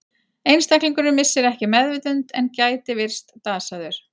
Einstaklingurinn missir ekki meðvitund en gæti virst dasaður.